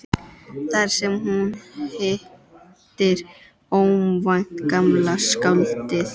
Þar sem hún hittir óvænt gamla skáldið.